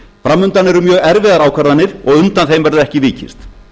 fram undan eru mjög erfiðar ákvarðanir og undan þeim verður ekki vikist